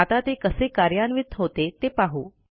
आता ते कसे कार्यान्वित होते ते पाहू